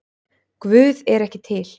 Guð er ekki til